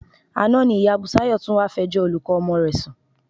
Àná ni ìyá Bùsáyọ̀ tún wá fẹjọ́ olùkọ́ ọmọ rẹ̀ sùn